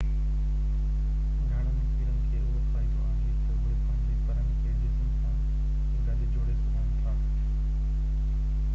گهڻن ڪيڙن کي اهو فائدو آهي تہ اهي پنهنجي پرن کي جسم سان گڏ جوڙي سگهن ٿا